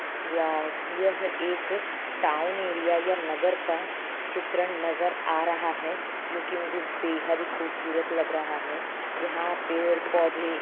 वाव यह एक town area या नगर का चित्र नजर आ रहा है जो कि मुझे बेहद खूबसूरत लग रहा है यहां पेड़ पौधे--